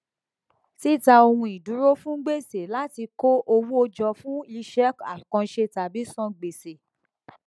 títa ohun ìdúró fún gbèsè láti kó owó jọ fún iṣẹ àkànṣe tàbí san gbèsè